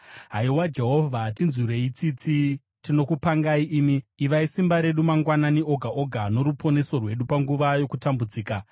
Haiwa Jehovha, tinzwirei tsitsi; tinokupangai imi. Ivai simba redu mangwanani oga oga, noruponeso rwedu panguva yokutambudzika.